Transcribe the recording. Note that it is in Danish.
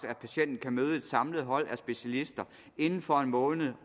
at patienten kan møde et samlet hold af specialister inden for en måned